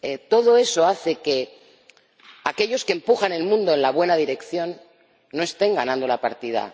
Todo eso hace que aquellos que empujan el mundo en la buena dirección no estén ganando la partida.